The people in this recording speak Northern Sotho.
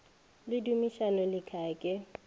le dumisani le khaya ke